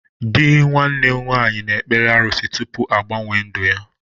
Dị nwanne m nwaanyị na ekpere arụsị tụpụ agbanwe ndụ ya